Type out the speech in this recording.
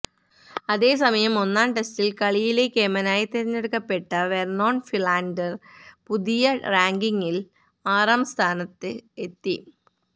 അതേ സമയം ഒന്നാം ടെസ്റ്റില് കളിയിലെ കേമനായി തെരഞ്ഞെടുക്കപ്പെട്ട വെര്നോണ് ഫിലാന്ഡര് പുതിയ റാങ്കിംഗില് ആറാം സ്ഥാനത്ത് എത്തി